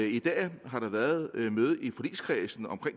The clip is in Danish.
i dag har der været et møde i forligskredsen om